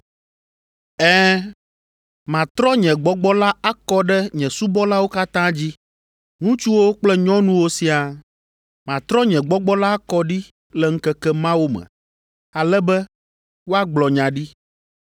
Ɛ̃, matrɔ nye Gbɔgbɔ la akɔ ɖe nye subɔlawo katã dzi, ŋutsuwo kple nyɔnuwo siaa, matrɔ nye Gbɔgbɔ la akɔ ɖi le ŋkeke mawo me, ale be woagblɔ nya ɖi.